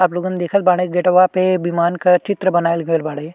आपलोगन देखेल बाड़े गेटवा पे विमान का चित्र बनाइल गईल बाड़े।